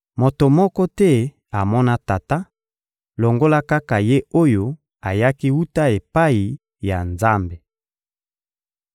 Moto moko te amona Tata, longola kaka Ye oyo ayaki wuta epai ya Nzambe.